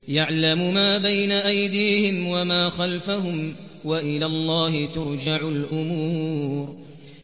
يَعْلَمُ مَا بَيْنَ أَيْدِيهِمْ وَمَا خَلْفَهُمْ ۗ وَإِلَى اللَّهِ تُرْجَعُ الْأُمُورُ